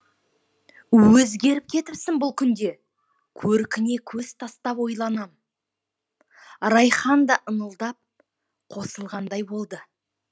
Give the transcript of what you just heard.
өзгеріп кетіпсің бұл күнде көркіңе көз тастап ойланам райхан да ыңылдап қосылғандай болды